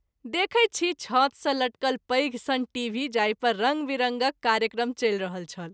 देखैत छी छत सँ लटकल पैघ सन टीभी जाहि पर रंग विरंगक कार्यक्रम चलि रहल छल।